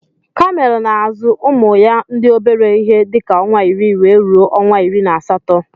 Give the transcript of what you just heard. Kamel na azu ụmụya ndi obere ihe dika onwa iri wee ruọ onwa iri na asatọ